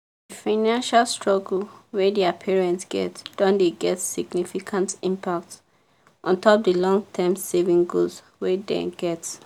the financial struggle wey thier parents get don dey get significant impact ontop the long-term savings goals wey den get.